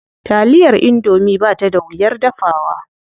Taliyar indomie ba ta da wuyar dafawa.